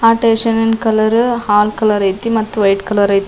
ಆಹ್ಹ್ ಸ್ಟೇಷನಿದ್ ಕಲರ್ ಹಾಲ್ ಕಲರ್ ಐತಿ ಮತ್ತೆ ವೈಟ್ ಕಲರ್ ಐತಿ.